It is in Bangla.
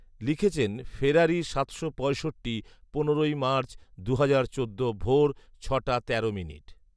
লিখেছেন ফেরারী সাতশো পঁয়ষট্টি, পনেরোই মার্চ, দুহাজার চোদ্দ ভোর ছটা তেরো